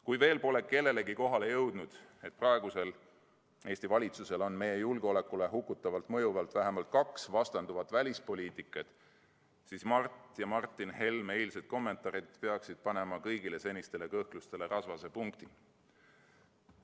Kui veel pole kellelegi kohale jõudnud, et praegusel Eesti valitsusel on meie julgeolekule hukutavalt mõjuvalt vähemalt kaks vastanduvat välispoliitikat, siis Mart ja Martin Helme eilsed kommentaarid peaksid panema kõigile senistele kõhklustele rasvase punkti.